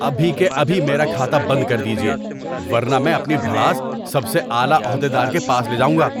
ابھی کے ابھی میرا کھاتہ بند کر دیجیے، ورنہ میں اپنی بھڑاس سب سے اعلی عہدہ دار کے پاس لے جاؤں گا۔